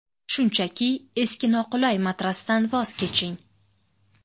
Shunchaki eski noqulay matrasdan voz keching!